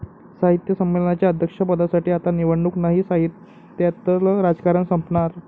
साहित्य संमेलनाच्या अध्यक्षपदासाठी आता निवडणूक नाही! साहित्यातलं राजकारण संपणार?